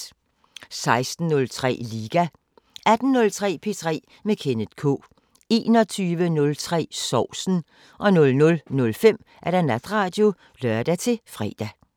16:03: Liga 18:03: P3 med Kenneth K 21:03: Sovsen 00:05: Natradio (lør-fre)